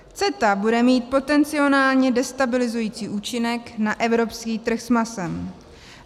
CETA bude mít potenciálně destabilizující účinek na evropský trh s masem.